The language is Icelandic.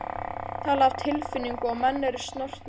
Hér er talað af tilfinningu og menn eru snortnir.